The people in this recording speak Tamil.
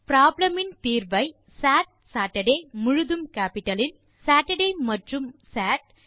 ப்ராப்ளம் இன் தீர்வை சாட் சேட்டர்டே சேட்டர்டே மற்றும் சாட்